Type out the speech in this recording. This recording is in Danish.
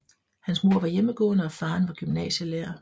Hans mor var hjemmegående og faren var gymnasielærer